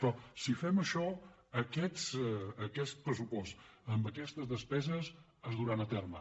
però si fem això aquest pressupost amb aquestes despeses es duran a terme